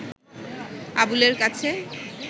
আবুলের কাছে